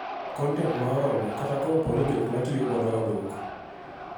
kontent ma oromo kata kapooni jok matiyo godo oduoko.